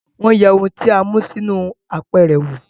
Wọ́n yẹ ohun tí a mú sínú apẹ̀rẹ̀ wo